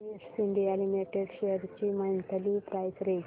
Cummins India limited shares ची monthly price range